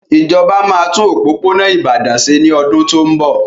Ìjọba máa tún òpópónà Ìbàdàn ṣe ní ọdún tó ń bọ̀.